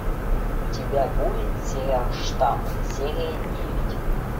у тебя будет сериал штамм серия девять